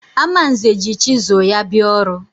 Amanze ji chizụl ya bịa ọrụ.